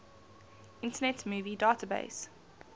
internet movie database